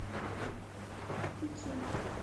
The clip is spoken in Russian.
китчен